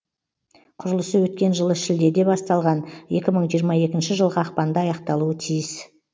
құрылысы өткен жылы шілдеде басталған екі мың жиырма екінші жылғы ақпанда аяқталуы тиіс